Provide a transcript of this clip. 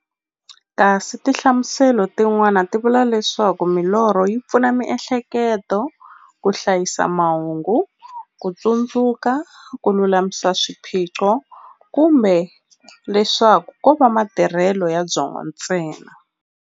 Kasi tinhlamuselo ti n'wana ti vula leswaku milorho yi pfuna miehleketo ka hlayisa mahungu, kutsundzuka, kululamisa swiphiqo, kumbe leswaku kova matirhele ya byongo ntsena.